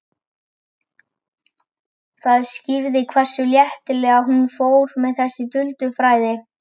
Það skýrði hversu léttilega hún fór með þessi duldu fræði.